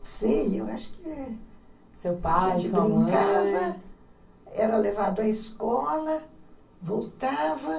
Não sei, eu acho que... Seu pai, sua mãe... A gente brincava, era levado à escola, voltava.